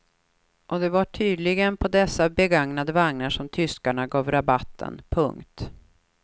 Och det var tydligen på dessa begagnade vagnar som tyskarna gav rabatten. punkt